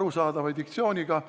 arusaadava diktsiooniga.